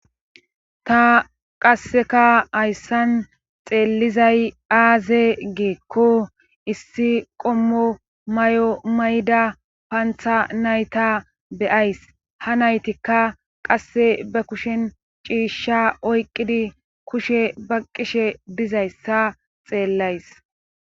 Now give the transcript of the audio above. ta qasseka hayssan xeellizay aaze geekko issi qommo may7o mayda pantha nayta beyays ha naytikka qasse ba kushen ciishsha oyqqidi kushe ba qishe dizayssa xeellays